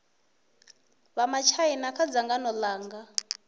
vha matshaina kha dzangano langa